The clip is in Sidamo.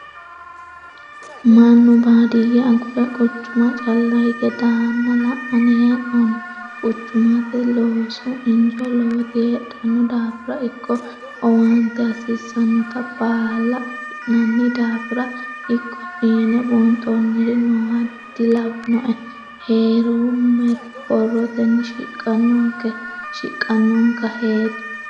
Mannu baadiyye agure quchuma calla higge daana la'nanni hee'noonni quchumate loosu injo lowoti heedhano daafira ikko owaante hasiisanotta baalla affi'nanni daafira ikko fiine buunxonniri nooha dilawinoe heeromero borroteni shiqanonka heeri.